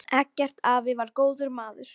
Eggert afi var góður maður.